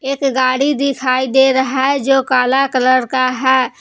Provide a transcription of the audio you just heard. एक गाड़ी दिखाई दे रहा है जो काला कलर का है।